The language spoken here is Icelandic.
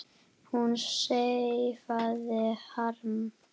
Hún sefaði harma.